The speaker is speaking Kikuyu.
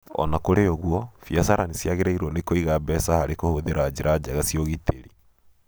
O na kũrĩ ũguo, biacara nĩ ciagĩrĩirũo nĩ kũiga mbeca harĩ kũhũthĩra njĩra njega cia ũgitĩri.